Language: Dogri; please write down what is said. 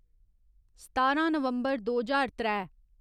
सतारां नवम्बर दो ज्हार त्रै